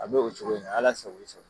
A bɛ o cogo in na Ala sago i sago.